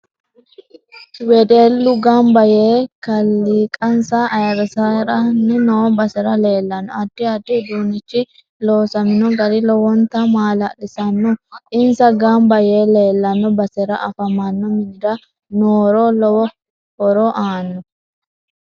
Wedellu ganba yee kaliiqansa ayiirisiranni noo basera leelanno addi addi uduunichi loosamino gari lowonta maalalsiisanno insa ganba yee leelano basera afamanno minira nooro lowo horo aano